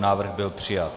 Návrh byl přijat.